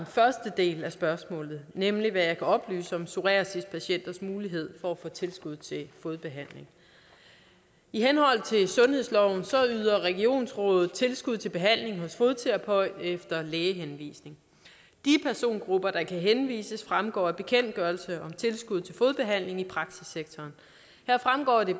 første del af spørgsmålet nemlig hvad jeg kan oplyse om psoriasispatienters mulighed for at få tilskud til fodbehandling i henhold til sundhedsloven yder regionsrådet tilskud til behandling hos fodterapeut efter lægehenvisning de persongrupper der kan henvises fremgår af bekendtgørelse om tilskud til fodbehandling i praksissektoren her fremgår det